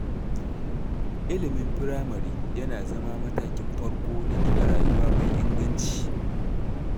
Ilimin firamare yana zama matakin farko na gina rayuwa mai inganci.